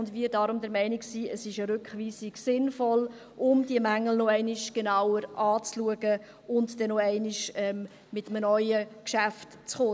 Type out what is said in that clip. Wir sind daher der Meinung, dass eine Rückweisung sinnvoll ist, um diese Mängel nochmals genauer anzuschauen und dann nochmals mit einem neuen Geschäft zu kommen.